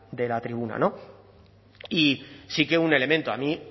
de la tribuna y sí que un elemento a mí